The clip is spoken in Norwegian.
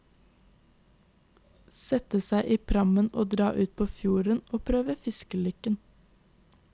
Sette seg i prammen og dra ut på fjorden å prøve fiskelykken.